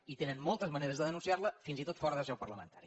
i tenen moltes maneres de denunciar la fins i tot fora de seu parlamentària